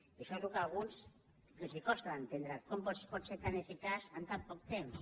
i això és el que a alguns els costa d’enten·dre com es pot ser tan eficaç en tan poc temps